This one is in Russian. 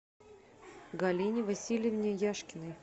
галине васильевне яшкиной